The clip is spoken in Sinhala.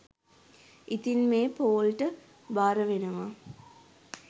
ඉතින් මේ පෝල් ට භාරවෙනවා